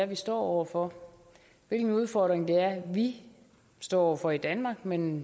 vi står over for hvilken udfordring vi står over for i danmark men